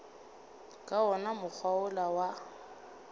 ka wona mokgwa wola wa